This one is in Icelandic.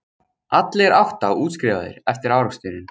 Allir átta útskrifaðir eftir áreksturinn